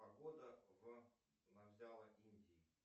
погода в индии